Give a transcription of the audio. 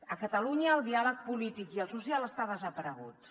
a catalunya el diàleg polític i el social estan desapareguts